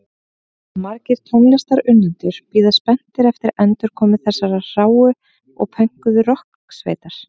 Margir tónlistarunnendur bíða spenntir eftir endurkomu þessarar hráu og pönkuðu rokksveitar.